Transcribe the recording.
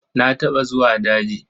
Na taɓa zuwa daji.